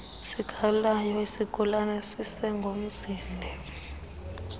sikagawulayo isigulana sisengozini